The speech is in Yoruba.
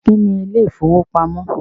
Kí ni ilé ìfowópamọ́?